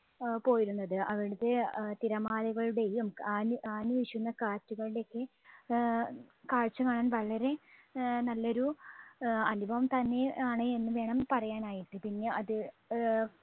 ആഹ് പോയിരുന്നത്. അവിടുത്തെ ആഹ് തിരമാലകളുടെയും ആഞ്ഞ്, ആഞ്ഞുവീശുന്ന കാറ്റുകളുടെയും ഒക്കെ ആഹ് കാഴ്ച്ച കാണാൻ വളരെ ആഹ് നല്ല ഒരു അഹ് അനുഭവം തന്നെ ആണ് എന്ന് വേണം പറയാൻ ആയിട്ട്. പിന്നെ അത് ആഹ്